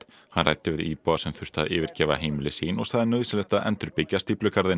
hann ræddi við íbúa sem þurftu að yfirgefa heimili sín og sagði nauðsynlegt að endurbyggja stíflugarðinn